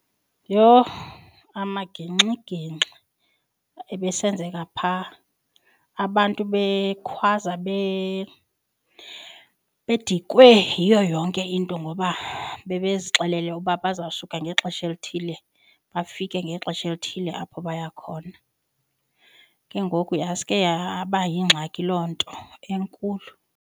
Yho amagingxigingxi ebesenzeka phaa abantu bekhwaza bedikwe yiyo yonke into ngoba bebezixelele uba bazawusuka ngexesha elithile bafike ngexesha elithile apho baya khona. Ke ngoku yasuke yaba yingxaki loo nto enkulu.